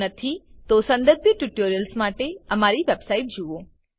જો નથી તો સંબંધિત ટ્યુટોરિયલ્સ માટે અમારી વેબસાઇટ જુઓ